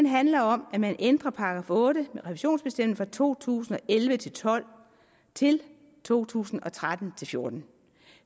handler om at man ændrer § otte med revisionsbestemmelsen fra to tusind og elleve til tolv til to tusind og tretten til fjorten